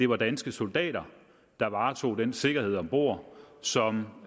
var danske soldater der varetog den sikkerhed om bord som